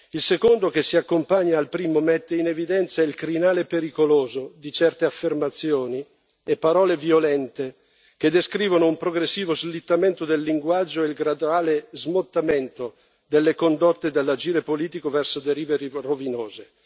Il secondo, che si accompagna al primo, mette in evidenza il crinale pericoloso di certe affermazioni e parole violente, che descrivono un progressivo slittamento del linguaggio e il graduale smottamento delle condotte dall'agire politico verso derive rovinose.